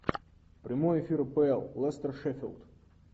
прямой эфир апл лестер шеффилд